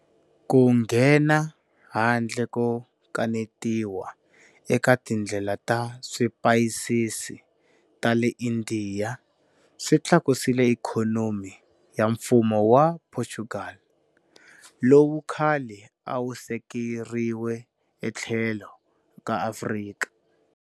Ku nghena handle ko kanetiwa eka tindlela ta swipayisisi ta le Indiya swi tlakusile ikhonomi ya Mfumo wa Portugal, lowu khale a wu sekeriwe etlhelo ka Afrika